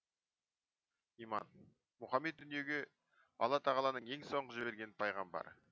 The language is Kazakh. иман мұхамед дүниеге алла тағаланың ең соңғы жіберген пайғамбары